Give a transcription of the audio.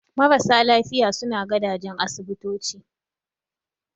Marasa lafiya suna gadajen asibitoci